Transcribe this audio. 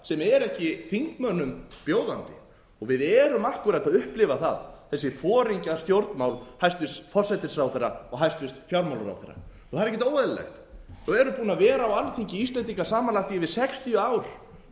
sem er ekki þingmönnum bjóðandi við erum akkúrat að upplifa það þessi foringjastjórnmál hæstvirtur forsætisráðherra og hæstvirtur fjármálaráðherra það er ekkert óeðlilegt og erum búin að vera á alþingi íslendinga samanlagt yfir sextíu ár þau